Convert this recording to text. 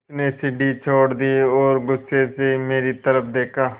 उसने सीढ़ी छोड़ दी और गुस्से से मेरी तरफ़ देखा